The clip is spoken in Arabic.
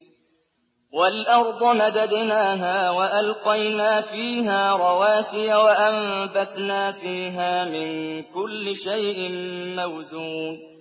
وَالْأَرْضَ مَدَدْنَاهَا وَأَلْقَيْنَا فِيهَا رَوَاسِيَ وَأَنبَتْنَا فِيهَا مِن كُلِّ شَيْءٍ مَّوْزُونٍ